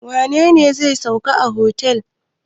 Wane ne zai sauka a otel?